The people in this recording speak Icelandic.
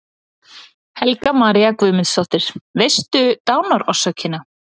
Helga María Guðmundsdóttir: Veistu dánarorsökina?